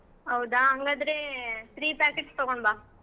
ಹೌದಾ ಹಂಗಾದ್ರೆ three packets ತಗೊಂಡ್ ಬಾ.